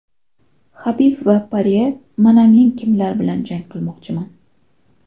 Habib va Porye mana men kimlar bilan jang qilmoqchiman.